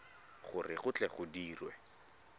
gore go tle go dirwe